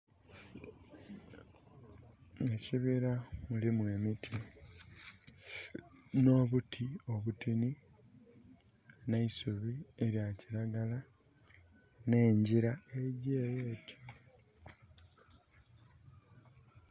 Ekibira mulimu emiti, nh'obuti obutini. Nh'eisubi elya kiragala. Nh'engyira egy'ele etyo.